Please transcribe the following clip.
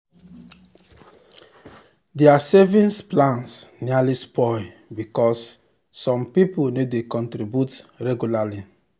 their savings plan nearly spoil because some people no dey contribute regularly.